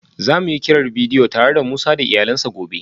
Za mu yi kiran bidiyo tare da Musa da iyalansa gobe